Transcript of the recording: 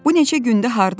Bu neçə gündür hardaydın?